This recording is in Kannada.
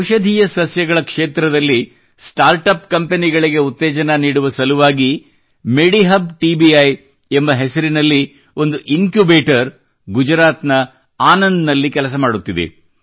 ಔಷಧೀಯ ಸಸ್ಯಗಳ ಕ್ಷೇತ್ರದಲ್ಲಿ ಸ್ಟಾರ್ಟ್ ಅಪ್ ಕಂಪನಿಗಳಿಗೆ ಉತ್ತೇಜನ ನೀಡುವ ಸಲುವಾಗಿ ಮೆಡಿಹಬ್ ಟಿಬಿಐ ಎಂಬ ಹೆಸರಿನಲ್ಲಿ ಒಂದು ಇನ್ಕ್ಯುಬೇಟರ್ ಗುಜರಾತ್ ನ ಆನಂದ್ ನಲ್ಲಿ ಕೆಲಸ ಮಾಡುತ್ತಿದೆ